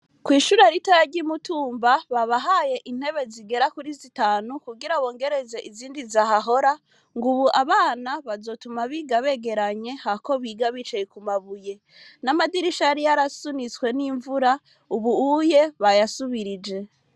ku ishuri ritoya ryi mutumba babahaye intebe zigera kuri zitanu Kugira bongereze izindi zahahora ngubu abana bazoja biga begeranye hakp biga bicaye kumabuye n'amadirisha yari yarasunitswe nimvura ubuho bayasubirije.